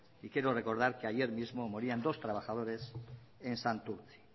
quiero recordar que ayer mismo morían dos trabajadores en santurtzi